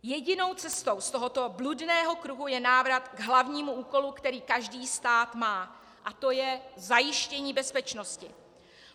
Jedinou cestou z tohoto bludného kruhu je návrat k hlavnímu úkolu, který každý stát má, a to je zajištění bezpečnosti.